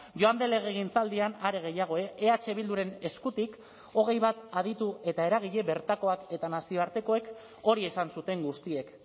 joan den legegintzaldian are gehiago eh bilduren eskutik hogei bat aditu eta eragile bertakoak eta nazioartekoek hori esan zuten guztiek